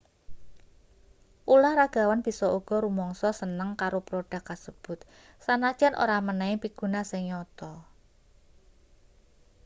ulahragawan bisa uga rumangsa seneng karo prodhuk kasebut sanajan ora menehi piguna sing nyata